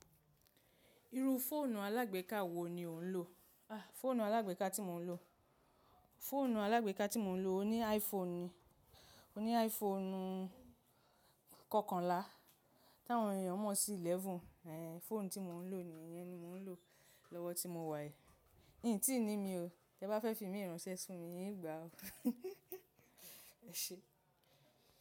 Irú fóònù alágbèká wo ni ò ń lò? Fóònù alágbèká tí mo ń lò? Fóònù alágbèká tí mo ń lò ni iPhone ni. Mo ní iPhone kọkànlá, táwọn ènìyàn mọ̀ sí Eleven. Fóònù tí mò ń lò nìyẹn ni mò ń lò lọ́wọ́ tí mo wà yìí. Ín tí ní mi o, tí ẹ bá fẹ́ fi mí ránṣẹ́ si mi ín gbà o. Ẹ̀ṣe.